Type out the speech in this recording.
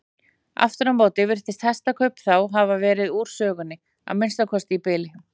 Aftur á móti virðast hestakaup þá hafa verið úr sögunni, að minnsta kosti í bili.